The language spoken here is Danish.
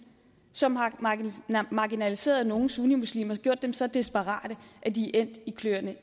som har marginaliseret nogle sunnimuslimer og gjort dem så desperate at de er endt i kløerne